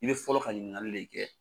I bɛ fɔlɔ ka ɲininkali le kɛ.